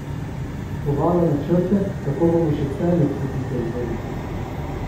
Kovala načrte, kako bomo še Celju tri pike vzeli...